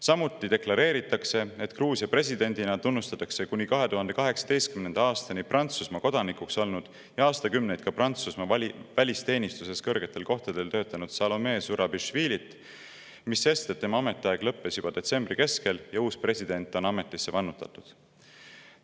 Samuti deklareeritakse, et Gruusia presidendina tunnustatakse kuni 2018. aastani Prantsusmaa kodanik olnud ja aastakümneid Prantsusmaa välisteenistuses kõrgetel kohtadel töötanud Salome Zurabišvilit, mis sest, et tema ametiaeg lõppes juba detsembri keskel ja uus president on ametisse vannutatud.